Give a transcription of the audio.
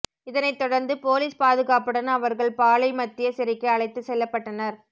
இதனை தொடர்ந்து போலீஸ் பாதுகாப்புடன் அவர்கள் பாளை மத்திய சிறைக்கு அழைத்து செல்லப்பட்டனர்